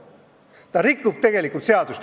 Ta rikub tegelikult seadust.